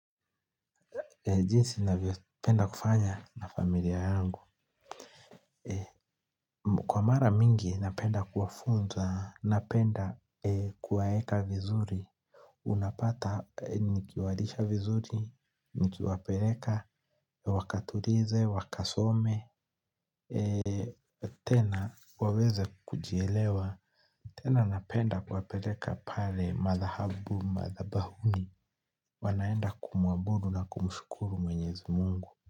Jinsi navyopenda kufanya na familia yangu kwa mara mingi napenda kuwafunza, napenda kuwaeka vizuri unapata nikiwalisha vizuri, nikiwapeleka, wakatulize, wakasome tena waweze kujielewa tena napenda kuwapeleka pale madhahabu madhabahuni. Wanaenda kumuabudu na kumshukuru mwenyezi Mungu kwa hivyo.